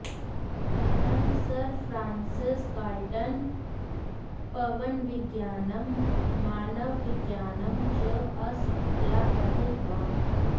अयं Sir Francis Galton पवनविज्ञानं मानवविज्ञानं च आसक्त्या अधीतवान्